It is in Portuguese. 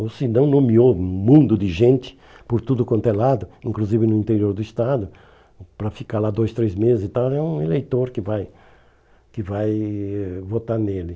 Ou se não, nomeou um mundo de gente por tudo quanto é lado, inclusive no interior do estado, para ficar lá dois, três meses e tal, é um eleitor que vai que vai votar nele.